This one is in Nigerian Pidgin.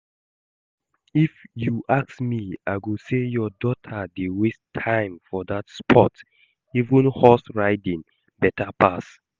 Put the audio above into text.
If you ask me I go say your daughter dey waste time for dat sport, even horse riding beta pass